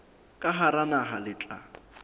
ka hara naha le tla